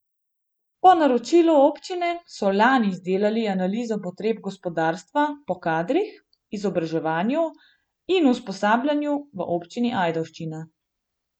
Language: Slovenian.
Po naročilu občine so lani izdelali Analizo potreb gospodarstva po kadrih, izobraževanju in usposabljanju v Občini Ajdovščina.